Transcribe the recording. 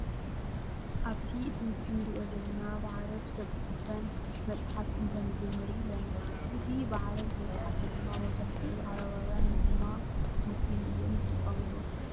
ኣብ እቲ ምስሊ እንሪኦ ዘለና ብዓረብ ዝተፃሓፈ መፅሓፍ እንተንብብ ንርኢ ኣለና። እዚ ብዓረብ ዝተፃሓፈ ድማ መብዛሕትኡ ዓረባውያን ወይ ድማ ሞስሊም እዮም ዝጥቀምሉ።